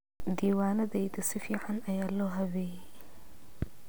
Diiwaanadayda si fiican ayaa loo habeeyey.